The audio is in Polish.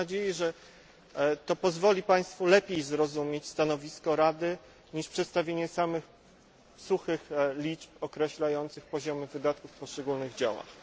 Mam nadzieję, że to pozwali Państwu lepiej zrozumieć stanowisko Rady, niż przedstawienie samych suchych liczb określających poziomy wydatków w poszczególnych działach.